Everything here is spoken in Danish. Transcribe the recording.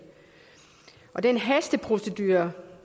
den hasteprocedure